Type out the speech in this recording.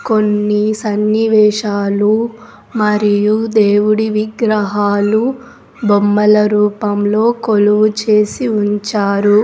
కొన్ని సన్నివేశాలు మరియు దేవుడి విగ్రహాలు బొమ్మల రూపంలో కొలువు చేసి ఉంచారు.